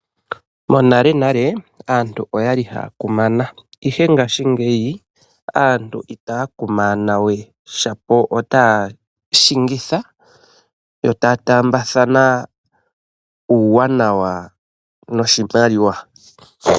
Monale nale, aantu oya li ha ya kumana, ihe ngaashi ngeyi aantu ita ya kumanathanawe shapo ota ya shingitha, yo ta ya taambathana uuwanawa woshimaliwa.